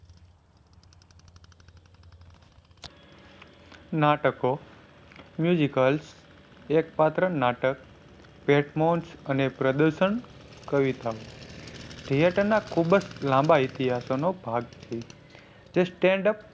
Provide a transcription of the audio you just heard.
નાટકો, al એક પાત્ર નાટક અને પ્રદર્શન કવિતા ઓ theater ના ખૂબ જ લાંબા ઇતિહાસો નો ભાગ છે. જે stand up